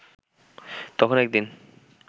তখন একদিন